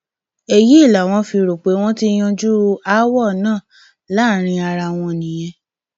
èyí làwọn fi rò pé wọn ti yanjú aáwọ náà láàrin ara wọn nìyẹn